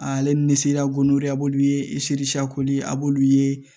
Ale ni seriya gori a b'olu ye a b'olu ye